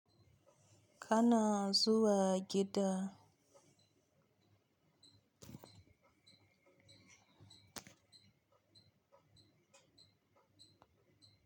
Kana zuwa gida.